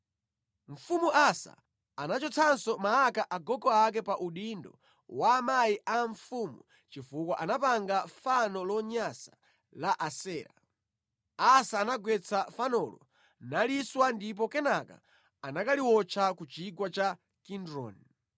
Mfumu Asa anachotsanso Maaka agogo ake pa udindo wa amayi a mfumu chifukwa anapanga fano lonyansa la Asera. Asa anagwetsa fanolo, naliswa ndipo kenaka anakaliwotcha ku chigwa cha Kidroni.